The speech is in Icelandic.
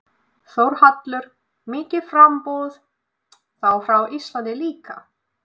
Þórhallur: Mikið framboð, þá frá Íslandi líka?